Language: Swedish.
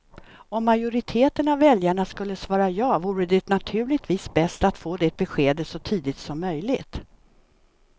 Om majoriteten av väljarna skulle svara ja vore det naturligtvis bäst att få det beskedet så tidigt som möjligt.